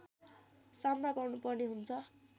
सामना गर्नुपर्ने हुन्छ